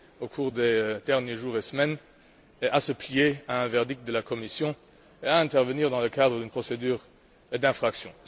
au cours des derniers jours et semaines, à se plier au verdict de la Commission et à intervenir dans le cadre d'une procédure d'infraction.